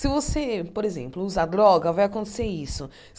Se você, por exemplo, usar droga, vai acontecer isso.